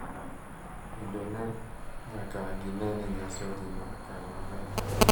Kendo ne nyaka gine ni nyasi odhi kare maber.